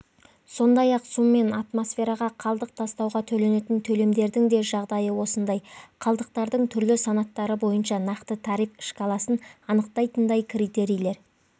сондай-ақ су мен атмосфераға қалдық тастауға төленетін төлемдердің де жағдайы осындай қалдықтардың түрлі санаттары бойынша нақты тариф шкаласын анықтайтындай критерийлер